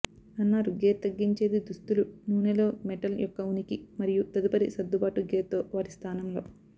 అన్నారు గేర్ తగ్గించేది దుస్తులు నూనెలో మెటల్ యొక్క ఉనికి మరియు తదుపరి సర్దుబాటు గేర్ తో వాటిస్థానంలో